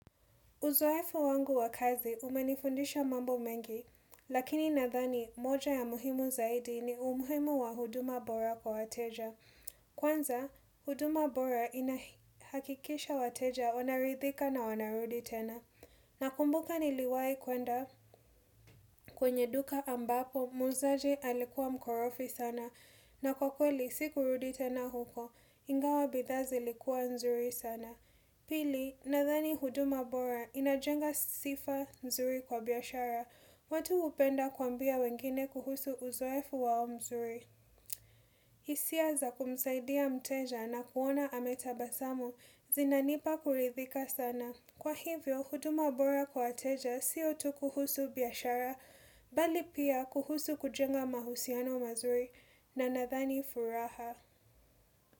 Uzoefu wangu wa kazi umenifundisha mambo mengi, lakini nadhani moja ya muhimu zaidi ni umhimu wa huduma bora kwa wateja. Kwanza, huduma bora inahakikisha wateja wanaridhika na wanarudi tena. Nakumbuka niliwai kwenda kwenye duka ambapo muuzaji alikuwa mkorofi sana na kwa kweli sikurudi tena huko, ingawa bidhaa zilikuwa nzuri sana. Pili, nadhani huduma bora inajenga sifa mzuri kwa biashara, watu hupenda kuambia wengine kuhusu uzoefu wao mzuri. Isia za kumsaidia mteja na kuona anayetabasamu, zinanipa kurithika sana. Kwa hivyo, huduma bora kwa wateja sio tu kuhusu biashara, bali pia kuhusu kujenga mahusiano mazuri na nadhani furaha.